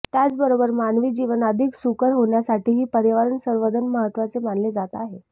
त्याचबरोबर मानवी जीवन अधिक सुकर होण्यासाठीही पर्यावरण संवर्धन महत्त्वाचे मानले जात आहे